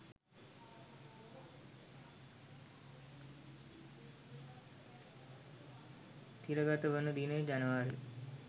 තිරගත වන දිනය ජනවාරි